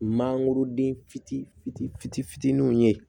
Mangoroden fitini fitini fitini fitininw ye